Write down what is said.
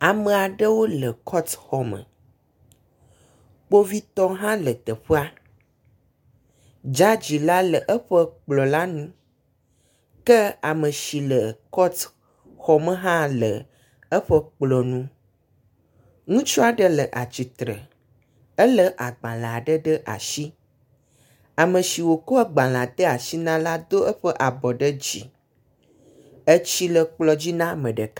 Ame aɖewo le kɔtuxɔ me. Kpovitɔ aɖewo hã le teƒea. Dzadzi la le eƒe kplɔ̃ la nu ke ame si le kɔtuxɔme hã le eƒe kplɔ̃ nu. Ŋutsu aɖe le atsitre, elé agbalẽ aɖe ɖe asi. Ame si wokɔ agbalẽa de asi na la do eƒe abɔ ɖe dzi. Etsi le kplɔ̃ dzi na ame ɖeka.